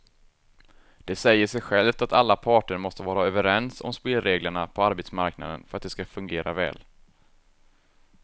Det säger sig självt att alla parter måste vara överens om spelreglerna på arbetsmarknaden för att de ska fungera väl.